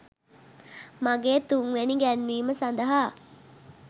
මගේ තුන්වෙනි ගැන්වීම සඳහා